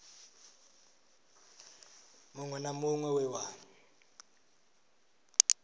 muṅwe na muṅwe we wa